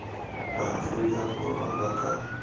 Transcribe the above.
ba aforika borwa ba ka